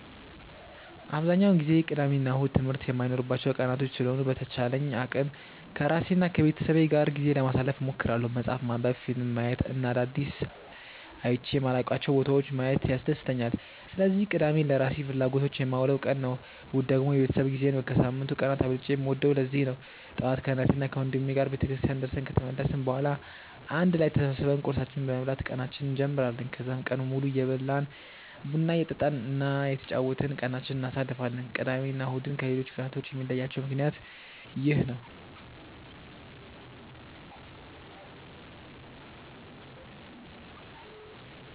አብዛኛውን ጊዜ ቅዳሜ እና እሁድ ትምህርት የማይኖርባቸው ቀናቶች ስለሆኑ በተቻለኝ አቅም ከራሴ እና ከቤተሰቤ ጋር ጊዜ ለማሳለፍ እሞክራለሁ። መፅሀፍ ማንበብ፣ ፊልም ማየት እና አዳዲስ አይቼ የማላውቃቸውን ቦታዎች ማየት ያስደስተኛል። ስለዚህ ቅዳሜን ለራሴ ፍላጎቶች የማውለው ቀን ነው። እሁድ ደግሞ የቤተሰብ ጊዜ ነው። ከሳምንቱ ቀናት አብልጬ የምወደውም ለዚህ ነው። ጠዋት ከእናቴና ወንድሜ ጋር ቤተክርስቲያን ደርሰን ከተመለስን በኋላ አንድ ላይ ተሰብስበን ቁርሳችንን በመብላት ቀናችንን እንጀምራለን። ከዛም ቀኑን ሙሉ እየበላን፣ ቡና እየጠጣን እና እየተጫወትን ቀናችንን እናሳልፋለን። ቅዳሜ እና እሁድን ከሌሎቹ ቀናቶች የሚለያቸው ምክንያት ይህ ነው።